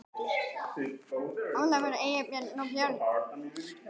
Ólafur, Eybjörg og börn.